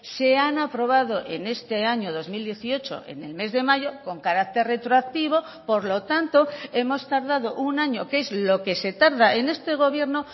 se han aprobado en este año dos mil dieciocho en el mes de mayo con carácter retroactivo por lo tanto hemos tardado un año que es lo que se tarda en este gobierno